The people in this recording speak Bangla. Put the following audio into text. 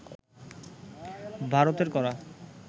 ভারতের করা